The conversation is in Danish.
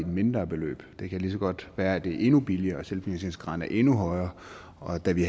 mindre beløb det kan lige så godt være at det er endnu billigere og at selvfinansieringsgraden er endnu højere og da vi